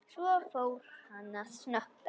Svo fór hann að snökta.